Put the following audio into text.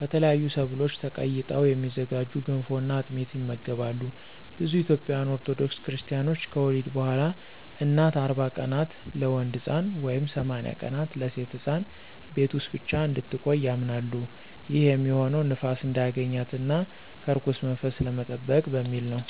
ከተለያዩ ሰብሎች ተቀይጠው የሚዘጋጁ ገንፎ እና አጥሚት ይመገባሉ። ብዙ ኢትዮጵያውያን ኦርቶዶክስ ክርስታኖች ከወሊድ በኋላ እናት 40 ቀናት (ለወንድ ሕፃን) ወይም 80 ቀናት (ለሴት ሕፃን) ቤት ውስጥ ብቻ እንድትቆይ ያምናሉ። ይህም የሚሆነው ንፋስ እንዳያገኛት እና ከርኩስ መንፈስ ለመጠበቅ በሚል ነው።